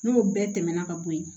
N'o bɛɛ tɛmɛna ka bo yen